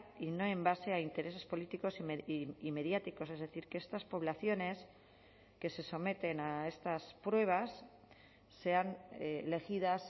y y no en base a intereses políticos y mediáticos es decir que estas poblaciones que se someten a estas pruebas sean elegidas